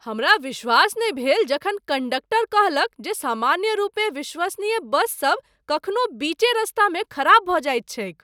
हमरा विश्वास नहि भेल जखन कण्डक्टर कहलक जे सामान्यरूपेँ विश्वसनीय बस सब कखनो बीचे रास्तामे खराब भऽ जाइत छैक।